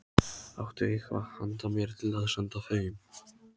Áttu eitthvað handa mér til að senda þeim?